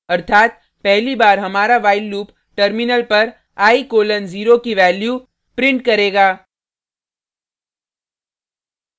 अर्थात पहली बार हमारा while लूप टर्मिनल पर i: 0 की वैल्यू प्रिंट करेगा